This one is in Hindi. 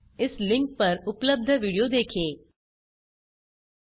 इस लिंक पर उपलब्ध विडियो देखें httpspoken tutorialorgWhat इस आ स्पोकेन ट्यूटोरियल